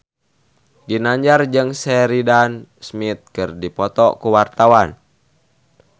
Ginanjar jeung Sheridan Smith keur dipoto ku wartawan